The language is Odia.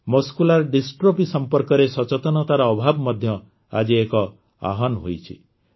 ମସ୍କୁଲାର ଡିଷ୍ଟ୍ରଫି ସମ୍ପର୍କରେ ସଚେତନତାର ଅଭାବ ମଧ୍ୟ ଆଜି ଏକ ଆହ୍ୱାନ ହୋଇଛି